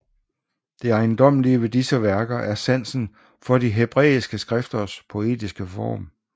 Det ejendommelige ved disse værker er sansen for de hebræiske skrifters poetiske form